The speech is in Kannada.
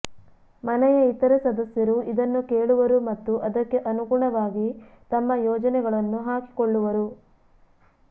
ಮನೆಯ ಇತರ ಸದಸ್ಯರು ಇದನ್ನು ಕೇಳುವರು ಮತ್ತು ಅದಕ್ಕೆ ಅನುಗುಣವಾಗಿ ತಮ್ಮ ಯೋಜನೆಗಳನ್ನು ಹಾಕಿಕೊಳ್ಳುವರು